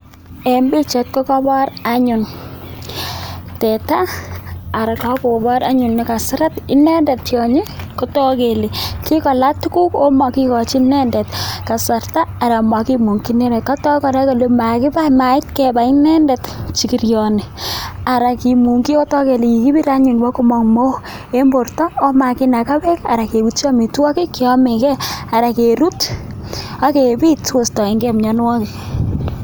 mite chekabor anyun sigiriet al kakobor kole kaseret ine tionyi kotok kele kikola tuguk amokikochin inendet kasarta anan kimukyin inendet makibai mait kebai inendet sigirioni ara kimungjin ketoi kele kikibir any kotinye mook eng borto amakinaka beek anan keuchi amitwokik anan kerut akepit sikoistoengei mianwokik